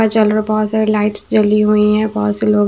जल रहा है बहुत सारी लाइट्स जली हुई है बहुत से लोग--